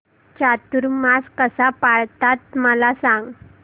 चातुर्मास कसा पाळतात मला सांग